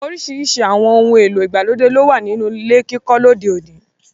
Oríṣiríṣi àwọn ohun èlò ìgbàlódé lówà nínú ilé kíkọ́ lóde òní.